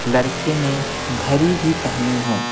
लड़के ने घरी भी पहनी है।